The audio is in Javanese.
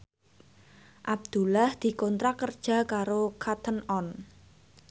Abdullah dikontrak kerja karo Cotton On